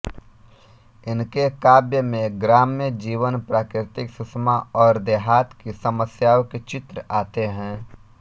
इनके काव्य में ग्राम्य जीवन प्राकृतिक सुषमा और देहात की समस्याओं के चित्र आते हैं